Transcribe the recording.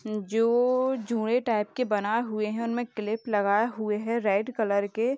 जो जूंड़े टाइप के बनाए हुए हैं उनमे क्लिप लगाए हुए हैं रेड कलर के।